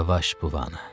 Yavaş buana.